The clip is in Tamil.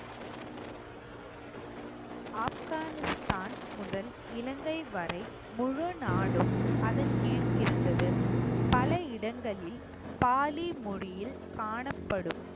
ஆப்கானிஸ்தான் முதல் இலங்கை வரை முழு நாடும் அதன் கீழ் இருந்தது பல இடங்களில் பாலி மொழியில் காணப்படும்